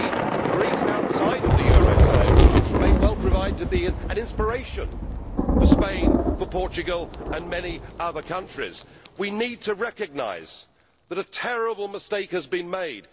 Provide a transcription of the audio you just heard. Indeed Greece outside the eurozone may well prove to be an inspiration for Spain, for Portugal and for many other countries. We need to recognise that a terrible mistake has been made.